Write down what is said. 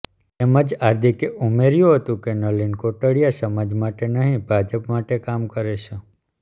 તેમજ હાર્દિકે ઉમેર્યું હતું કે નલિન કોટડીયા સમાજ માટે નહીં ભાજપ માટે કામ કરે છે